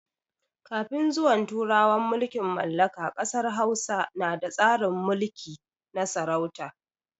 Kafin zuwan turawan mulkin mallaka ƙasar Hausa na da tsarin mulki na sarauta.